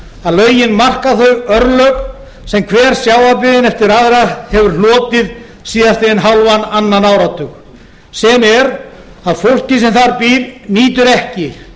að lögin marka þau örlög sem hver sjávarbyggðin eftir aðra hefur hlotið síðastliðinn hálfan annan áratug sem er að fólkið sem þar býr nýtur ekki